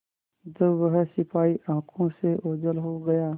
जब वह सिपाही आँखों से ओझल हो गया